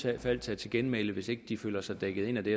fald tage til genmæle hvis ikke de føler sig dækket ind af det